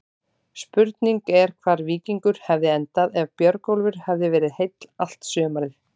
Spurning er hvar Víkingur hefði endað ef Björgólfur hefði verið heill allt sumarið?